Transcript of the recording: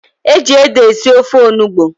Eji ede esi ofe Onugbu